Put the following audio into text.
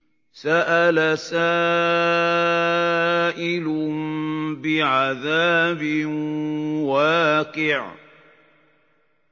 سَأَلَ سَائِلٌ بِعَذَابٍ وَاقِعٍ